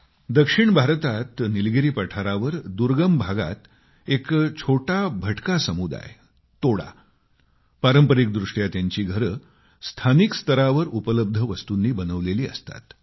दक्षिण भारतात निलगिरी पठारावर दुर्गम भागात एक छोटा भटका समुदाय तोडा पारंपरिक दृष्ट्या त्यांची वस्ती स्थानिक स्तरावर उपलब्ध वस्तूंनी बनवलेल्या असतात